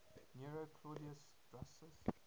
nero claudius drusus